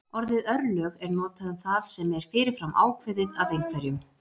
orðið örlög er notað um það sem er fyrir fram ákveðið af einhverjum